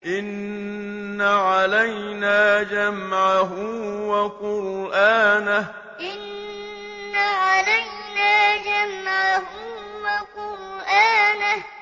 إِنَّ عَلَيْنَا جَمْعَهُ وَقُرْآنَهُ إِنَّ عَلَيْنَا جَمْعَهُ وَقُرْآنَهُ